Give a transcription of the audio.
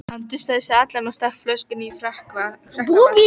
Hann dustaði sig allan og stakk flöskunni í frakkavasann.